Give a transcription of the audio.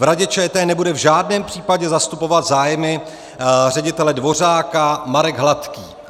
V Radě ČT nebude v žádném případě zastupovat zájmy ředitele Dvořáka Marek Hladký.